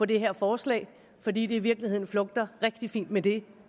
det her forslag fordi det i virkeligheden flugter rigtig fint med det